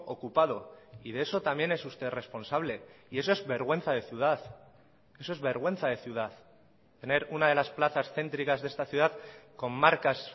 ocupado y de eso también es usted responsable y eso es vergüenza de ciudad eso es vergüenza de ciudad tener una de las plazas céntricas de esta ciudad con marcas